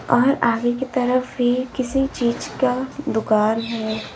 और आगे की तरफ भी किसी चीज का दुकान है।